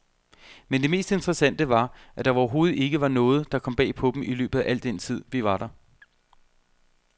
Men det mest interessante var, at der overhovedet ikke var noget, der kom bag på dem i løbet af al den tid, vi var der.